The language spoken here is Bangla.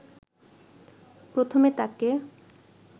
প্রথমে তাকে